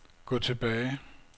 gå tilbage